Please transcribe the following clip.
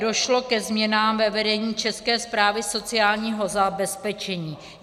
Došlo ke změnám ve vedení České správy sociálního zabezpečení.